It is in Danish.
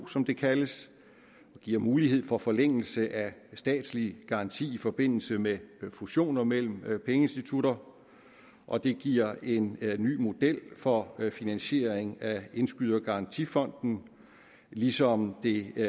som det kaldes det giver mulighed for forlængelse af statslig garanti i forbindelse med fusioner mellem pengeinstitutter og det giver en ny model for finansiering af indskydergarantifonden ligesom det